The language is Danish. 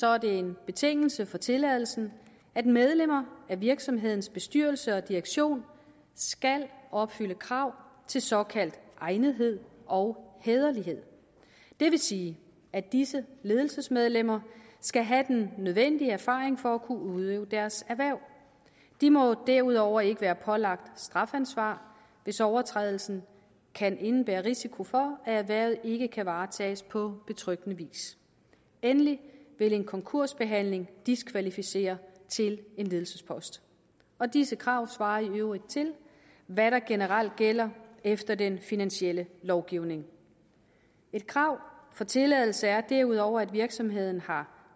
er det en betingelse for tilladelsen at medlemmer af virksomhedens bestyrelse og direktion skal opfylde krav til såkaldt egnethed og hæderlighed det vil sige at disse ledelsesmedlemmer skal have den nødvendige erfaring for at kunne udøve deres erhverv de må derudover ikke være pålagt strafansvar hvis overtrædelsen kan indebære risiko for at erhvervet ikke kan varetages på betryggende vis endelig vil en konkursbehandling diskvalificere til en ledelsespost og disse krav svarer i øvrigt til hvad der generelt gælder efter den finansielle lovgivning et krav for tilladelse er derudover at virksomheden har